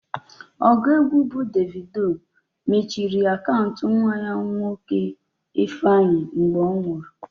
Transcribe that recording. Ọgụ egwu bụ Davido mechiri akaụntụ nwa ya nwoke Ifeanyi mgbe ọ nwụrụ.